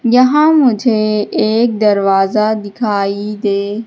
यहां मुझे एक दरवाजा दिखाई दे--